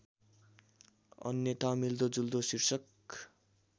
अन्यथा मिल्दोजुल्दो शीर्षक